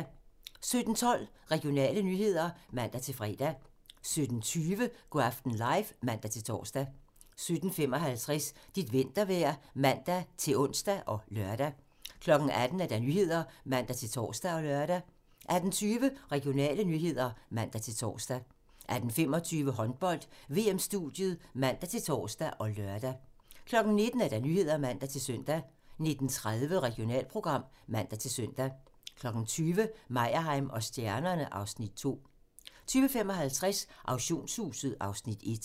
17:12: Regionale nyheder (man-fre) 17:20: Go' aften live (man-tor) 17:55: Dit vintervejr (man-ons og lør) 18:00: Nyhederne (man-tor og lør) 18:20: Regionale nyheder (man-tor) 18:25: Håndbold: VM-studiet (man-tor og lør) 19:00: Nyhederne (man-søn) 19:30: Regionalprogram (man-søn) 20:00: Meyerheim & stjernerne (Afs. 2) 20:55: Auktionshuset (Afs. 1)